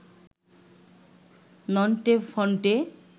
Nonte Phonte